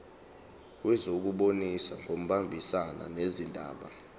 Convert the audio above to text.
wezokubusa ngokubambisana nezindaba